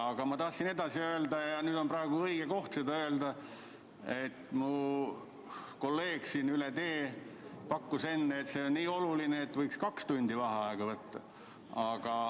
Aga ma tahtsin edasi öelda ja nüüd on praegu õige koht seda öelda, et mu kolleeg siin üle vahekäigu pakkus enne, et see on nii oluline küsimus, et võiks kaks tundi vaheaega võtta.